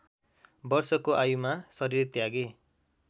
वर्षको आयुमा शरीर त्यागे